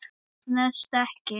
Það stenst ekki.